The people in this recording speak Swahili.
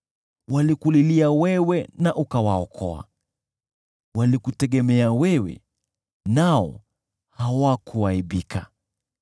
Walikulilia wewe na ukawaokoa, walikutegemea wewe nao hawakuaibika.